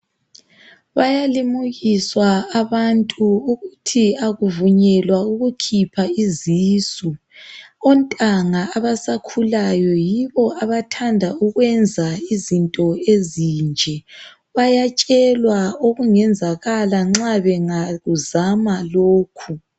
Bayalimukiswa abantu ukuthi akuvunyelwa ukukhipha izisu. Ontanga abasakhulawo yibo abathanda ukwenza izinto ezinje. Bayatshelwa ukungayenzakala bangakuzama lokhu.